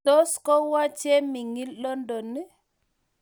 Tos ko wo Chemining' London ii?